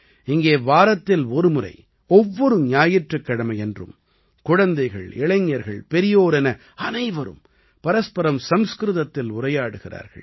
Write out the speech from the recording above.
இங்கே வாரத்தில் ஒரு முறை ஒவ்வொரு ஞாயிற்றுக் கிழமையன்றும் குழந்தைகள் இளைஞர்கள் பெரியோர் என அனைவரும் பரஸ்பரம் சம்ஸ்கிருதத்தில் உரையாடுகிறார்கள்